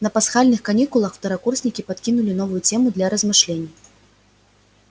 на пасхальных каникулах второкурсникам подкинули новую тему для размышлений